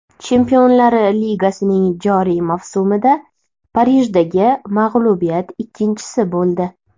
Chempionlar ligasining joriy mavsumida Parijdagi mag‘lubiyat ikkinchisi bo‘ldi.